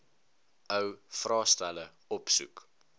ou vraestelle opsoek